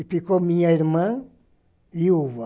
E ficou minha irmã, Ilva.